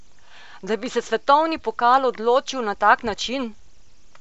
Da bi se svetovni pokal odločil na tak način!